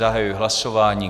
Zahajuji hlasování.